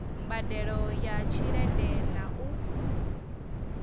mbadelo ya tshelede na u